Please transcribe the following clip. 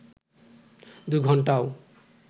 দু ঘন্টাও